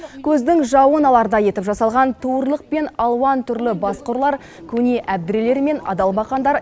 көздің жауын алардай етіп жасалған туырлық пен алуан түрлі басқұрлар көне әбдірелер мен адалбақандар